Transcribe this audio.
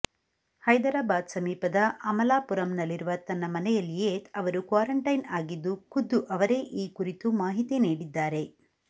ಹೈದರಾಬಾದ್ ಸಮೀಪದ ಅಮಲಾಪುರಂನಲ್ಲಿರುವ ತಮ್ಮ ಮನೆಯಲ್ಲಿಯೇ ಅವರು ಕ್ವಾರಂಟೈನ್ ಆಗಿದ್ದು ಖುದ್ದು ಅವರೇ ಈ ಕುರಿತು ಮಾಹಿತಿ ನೀಡಿದ್ದಾರೆ